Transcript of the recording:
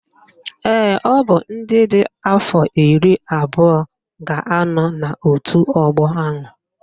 Ee, ọ bụ ndị dị afọ iri abụọ ga-anọ n'otu ọgbọ ahụ